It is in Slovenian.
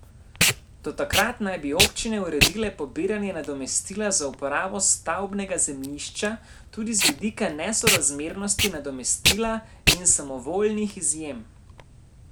Do takrat naj bi občine uredile pobiranje nadomestila za uporabo stavbnega zemljišča, tudi z vidika nesorazmernosti nadomestila in samovoljnih izjem.